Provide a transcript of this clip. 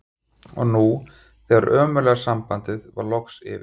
Og nú þegar það ömurlega samband var loksins yfir